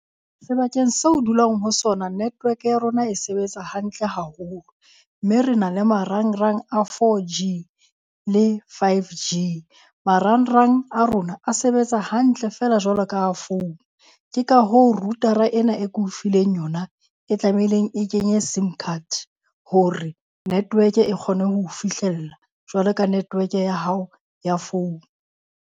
Sebakeng seo o dulang ho sona network ya rona e sebetsa hantle haholo. Mme re na le marangrang a 4G le 5G. Marangrang a rona a sebetsa hantle feela jwalo ka a founu. Ke ka hoo router-ra ena e ke o fileng yona e tlameileng e kenye Sim card hore network e kgone ho o fihlella jwalo ka network ya hao ya phone.